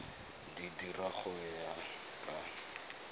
di dira go ya ka